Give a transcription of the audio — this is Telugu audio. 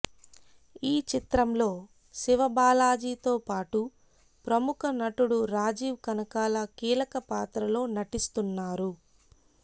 ఈ చిత్రంలో శివబాలాజీతో పాటు ప్రముఖ నటుడు రాజీవ్ కనకాల కీలకపాత్రలో నటిస్తున్నారు